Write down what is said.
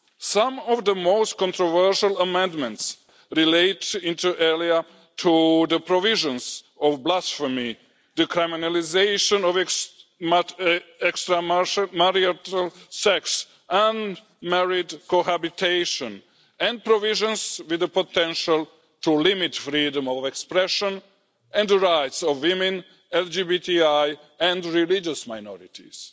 Some of the most controversial amendments relate inter alia to the provisions of blasphemy, decriminalisation of extramarital sex and married cohabitation and provisions with the potential to limit freedom of expression and the rights of women, LGBTI and religious minorities.